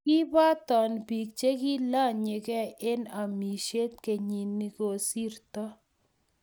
kiboton biik che kiilanyi gei eng' amisiet kenyi ne kosirto